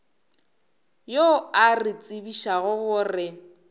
yo a re tsebišago gore